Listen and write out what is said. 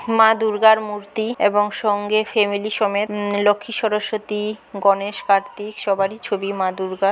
মা দুর্গার মূর্তি এবং সঙ্গে ফ্যামিলি সমেত উউম লক্ষী সরস্বতী গণেশ কার্তিক সবারই ছবি মা দূর্গার --